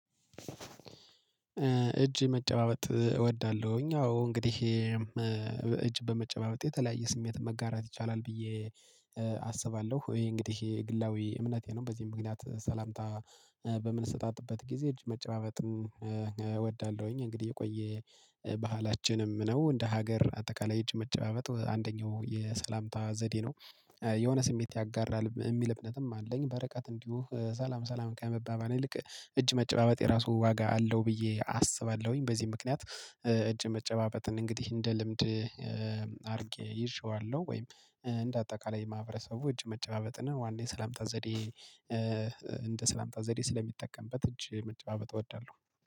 እጅ መጨባበጥ እወዳለሁኝ። አዎ እንግዲህ እጅ በመጨባበጥ የተለያየ ስሜት መጋራት ይቻላል ብዬ አስባለሁ ወይ እንግዲህ ይሄ ግላዊ እምነቴ ነው። በዚህ ምክንያት ሰላምታ በምንሰጣጥበት ጊዜ እጅ መጨባበጥን እወዳለሁኝ። እንግዲህ የቆየ ባህላችንም ነው እንደ ሀገር አጠቃላይ እጅ መጨባበጥ አንደኛው የሰላምታ ዘዴ ነው። የሆነ ስሜት ያጋራል የሚል እምነትም አለኝ በርቀት እንዲሁ ሰላም ሰላም ከመባባል ይልቅ እጅ መጨባበጥ የራሱ ዋጋ አለው ብዬ አስባለሁኝ። በዚህ ምክንያት እጅ መጨባበጥን እንግዲህ እንደ ልምድ አድርጌ ይዤዋለሁ። ወይም እንደ አጠቃላይ ማህበረሰቡ እጅ መጨባበጥን ዋና ስላምታ ዘዴ እንደ ስላምታ ዘዴ ስለሚጠቀምበት እጅ መጨባበጥ እወዳለሁ